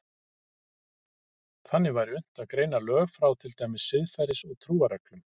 Þannig væri unnt að greina lög frá til dæmis siðferðis- og trúarreglum.